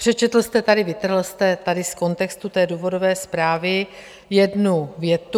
Přečetl jste tady - vytrhl jste tady z kontextu té důvodové zprávy jednu větu.